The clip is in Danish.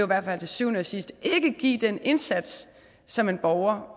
hvert fald til syvende og sidst ikke give den indsats som en borger